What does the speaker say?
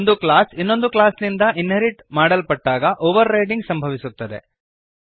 ಒಂದು ಕ್ಲಾಸ್ ಇನ್ನೊಂದು ಕ್ಲಾಸ್ನಿಂದ ಇನ್ಹೆರಿಟ್ ಮಾಡಲ್ಪಟ್ಟಾಗ ಓವರ್ರೈಡಿಂಗ್ ಸಂಭವಿಸುತ್ತದೆ